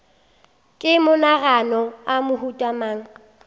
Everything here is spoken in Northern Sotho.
ke maganogano a mohuta mang